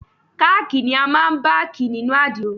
Káàkì ni a máa ń bákì nínú àdìrò.